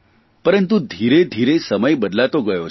પરંતુ ધીરેધીરે સમય બદલાતો ગયો છે